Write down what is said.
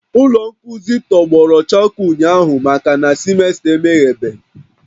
Ụlọ nkuzi tọgbọrọ chakoo ụnyahụ makana semester emeghebeghị